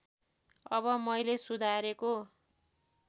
अब मैले सुधारेको